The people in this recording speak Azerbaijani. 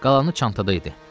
Qalanı çantada idi.